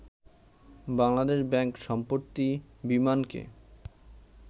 Bangladesh bank সম্প্রতি বিমানকে